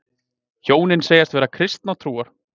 Hjónin segjast vera kristinnar trúar